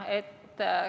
Jaa.